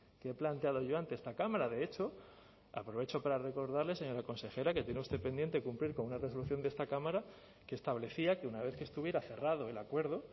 que he planteado yo ante esta cámara de hecho aprovecho para recordarle señora consejera que tiene usted pendiente cumplir con una resolución de esta cámara que establecía que una vez que estuviera cerrado el acuerdo